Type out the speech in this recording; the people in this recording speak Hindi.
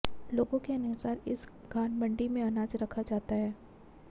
लोगों के अनुसार इस घानमंडी में अनाज रखा जाता है